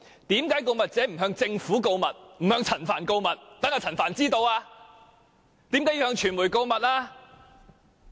為何告密者不向政府和陳帆告密，而向傳媒告密呢？